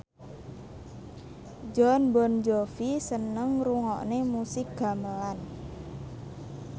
Jon Bon Jovi seneng ngrungokne musik gamelan